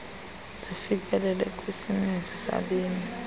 zifikeleleke kwisininzi sabemi